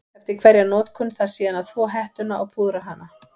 Eftir hverja notkun þarf síðan að þvo hettuna og púðra hana.